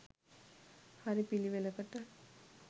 හරි පිළිවෙලකට